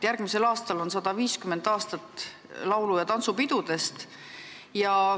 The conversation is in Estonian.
Järgmisel aastal täitub 150 aastat esimesest laulupeost.